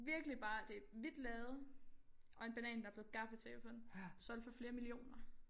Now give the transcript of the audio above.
Virkelig bare det et hvidt lærred og en banan der blevet gaffatapet på den solgt for flere millioner